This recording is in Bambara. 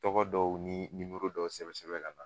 Tɔgɔ dɔw ni dɔw sɛbɛn sɛbɛn kana